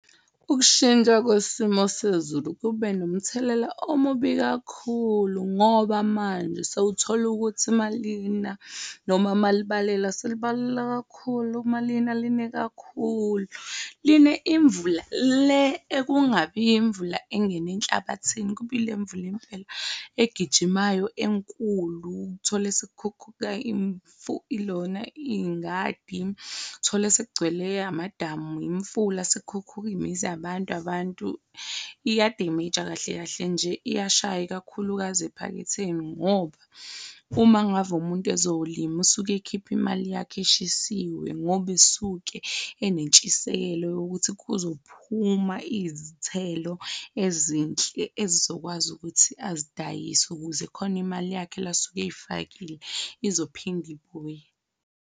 Ukushintsha kwesimo sezulu kube nomthelela omubi kakhulu ngoba manje sewuthola ukuthi malina noma ma libalela, selibalela kakhulu, malini line kakhulu, line imvula le ekungabi imvula engene enhlabathini kuba egijimayo enkulu uthole ingadi, thole sekugcwele amadamu, imifula sekukhukhuleke imizi yabantu iya-damage-a kahle, kahle nje iyashaya, ikakhulukazi ephaketheni ngoba uma ngave umuntu ezolima usuke ekhiphe imali yakhe eshisiwe ngoba usuke enentshisekelo yokuthi kuzophuma izithelo ezinhle, ezizokwazi ukuthi azidayise ukuze khona imali yakhe le asuke eyifakile izophinde ibuye.